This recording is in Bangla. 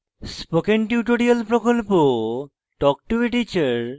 spoken tutorial প্রকল্প talk to a teacher প্রকল্পের অংশবিশেষ